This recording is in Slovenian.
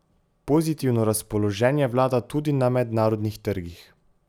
Pozitivno razpoloženje vlada tudi na mednarodnih trgih.